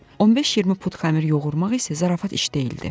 15-20 pud xəmir yoğurmaq isə zarafat iş deyildi.